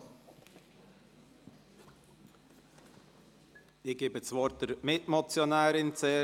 Ich gebe zuerst der Mitmotionärin das Wort.